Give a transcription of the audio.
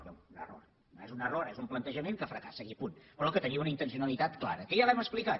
bé un error no és un error és un plantejament que fracassa i punt però que tenia una intencionalitat clara que ja l’hem explicat